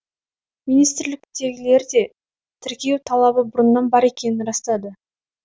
министрліктегілер де тіркеу талабы бұрыннан бар екенін растады